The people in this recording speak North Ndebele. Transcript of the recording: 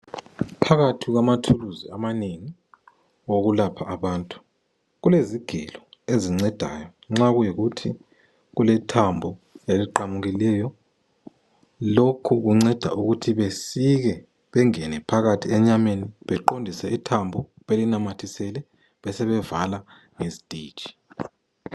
Phakathi kwamathuluzi amanengi okulapha abantu .Kulezigelo ezincedayo nxa kuyikuthi kule thambo eliqamukileyo .Lokhu kunceda ukuthi besike bengene phakathi enyameni beqondise ithambo belinamathisele besebevala ngezititshi.